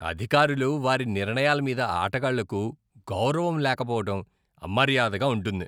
అధికారులు, వారి నిర్ణయాల మీద ఆటగాళ్లకు గౌరవం లేకపోవడం అమర్యాదగా ఉంటుంది.